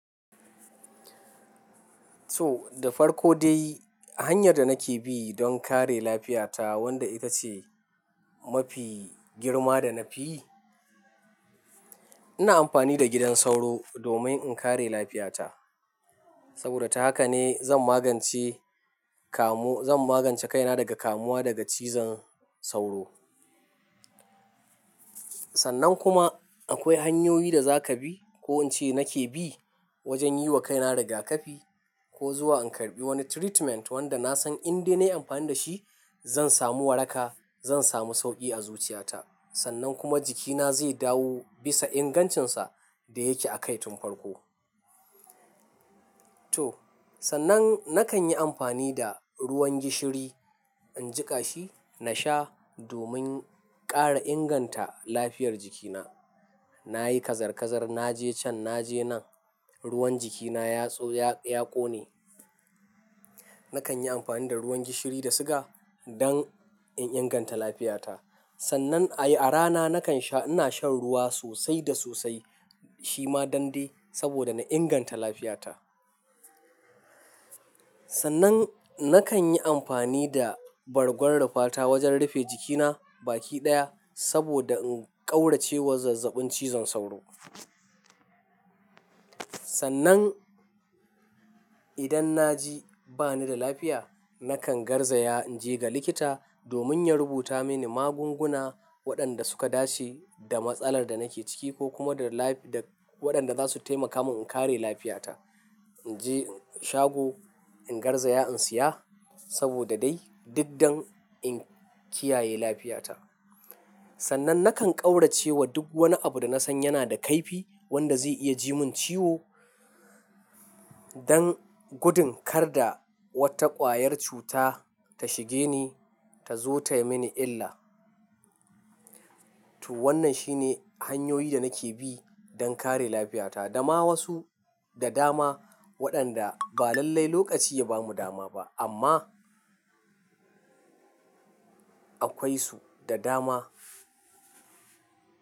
To, da farko dai hanyar da nake bi don kare lafiya ta wanda ita ce mafi girma da na fi yi, ina amfani da gidan sauro domin in kare lafiyata. Saboda ta haka ne zan magance kamu-- zan magance kaina daga kamuwa daga cizon sauro. Sannan kuma akwai hanyoyi da za ka bi ko in ce nake bi wajen yi wa kaina rigakafi ko zuwa in karɓi wani treatment wanda na san in dai na yi amfani da shi, zan samu waraka, zan samu sauƙi a zuciyata. Sannan kuma jikina zai dawo bisa ingancinsa da yake a kai tun farko. To, sannan nakan yi amfani da ruwan gishiri, in jiƙa shi, na sha domin ƙara inganta lafiyar jikina. Na yi kazar-kazar, na je can, na je nan, ruwan jikina ya tso-- ya, ya ƙone. Nakan yi amfani da ruwan gishiri da suga don in inganta lafiya ta. Sannan a yi-- a rana nakan sha-- ina shan ruwa sosai da sosai shima don dai saboda na inganta lafiya ta. Sannan nakan yi amfani da bargon rufa ta wajen rufe jikina baki ɗaya saboda in ƙaurace wa zazzabin cizon sauro. Sannan idan na ji ba ni da lafiya, nakan garzaya in je ga likita domin ya rubuta mini magunguna waɗanda suka dace da matsalar da nake ciki ko kuma da lafi-- da waɗanda za su taimaka mun in kare lafiya ta. In je shago, in garzaya in siya saboda dai duk dan in kiyaye lafiya ta. Sannan nakan ƙaurace wa duk wani abu da na san yana da kaifi wanda zai iya ji mun ciwo don gudun kar da wata ƙwayar cuta ta shige ni ta zo ta yi mini illa. To, wannan shi ne hanyoyi da nake bi don kare lafiya ta. Dama wasu da dama waɗanda ba lallai lokaci ya ba mu dama ba amma akwai su da dama.